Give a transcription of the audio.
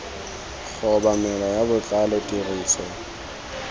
go obamelwa ka botlalo tiriso